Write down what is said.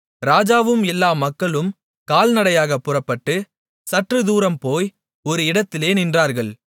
ராஜாவும் எல்லா மக்களும் கால்நடையாகப் புறப்பட்டு சற்றுத்தூரம் போய் ஒரு இடத்திலே நின்றார்கள்